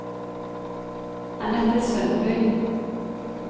Annette Sundby